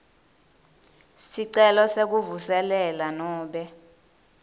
sicelo sekuvuselela nobe